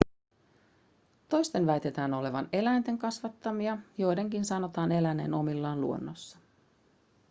toisten väitetään olevan eläinten kasvattamia joidenkin sanotaan eläneen omillaan luonnossa